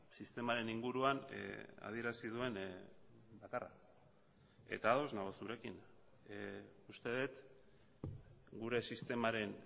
sistemaren inguruan adierazi duen bakarra eta ados nago zurekin uste dut gure sistemaren